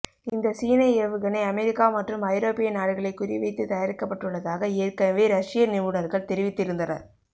இந்த சீன ஏவுகணை அமெரிக்கா மற்றும் ஐரோப்பிய நாடுகளை குறி வைத்து தயாரிக்கப்பட்டுள்ளதாக ஏற்கனவே ரஷிய நிபுணர்கள் தெரிவித்து இருந்தனர்